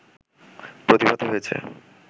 প্রতিভাত হয়েছে